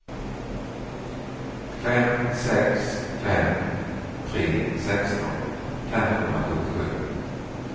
fem sex fem tre sexton femhundrasjuttiosju